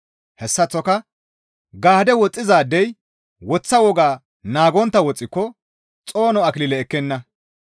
Hessaththoka gaadde woxxizaadey woththa woga naagontta woxxiko xoono akilile ekkenna.